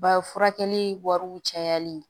Ba furakɛli wariw cayali